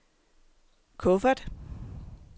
kuffert